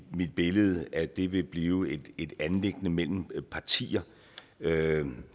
billede at det vil blive et anliggende mellem partier